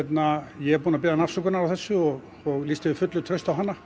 ég er búinn að biðjast afsökunar á þessu og og lýsti yfir fullu trausti á hana